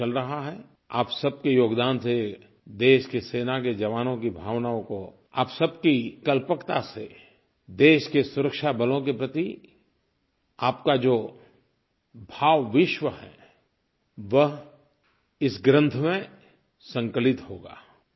काम चल रहा है आप सबके योगदान से देश के सेना के जवानों की भावनाओं को आप सबकी कल्पकता से देश के सुरक्षा बलों के प्रति आपका जो भावविश्व है वह इस ग्रन्थ में संकलित होगा